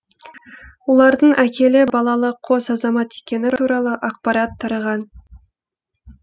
олардың әкелі балалы қос азамат екені туралы ақпарат тараған